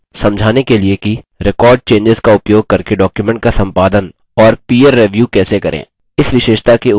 समझाने के लिए कि record changes का उपयोग करके डॉक्युमेंट का संपादन और पीर रिव्यू कैसे करें